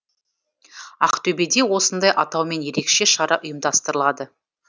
ақтөбеде осындай атаумен ерекше шара ұйымдастырылады